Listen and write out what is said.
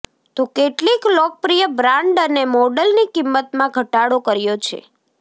તો કેટલીક લોકપ્રિય બ્રાન્ડ અને મોડલની કિંમતમાં ઘટાડો કર્યો છે